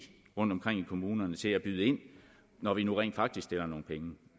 rundtomkring i kommunerne til at byde ind når vi nu rent faktisk stiller nogle penge